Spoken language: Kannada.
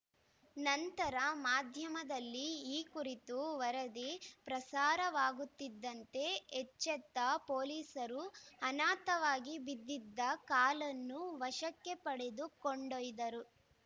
ನಂತರ ಮಾಧ್ಯಮದಲ್ಲಿ ಈ ಕುರಿತು ವರದಿ ಪ್ರಸಾರವಾಗುತ್ತಿದ್ದಂತೆ ಎಚ್ಚೆತ್ತ ಪೊಲೀಸರು ಅನಾಥವಾಗಿ ಬಿದ್ದಿದ್ದ ಕಾಲನ್ನು ವಶಕ್ಕೆ ಪಡೆದು ಕೊಂಡೊಯ್ದರು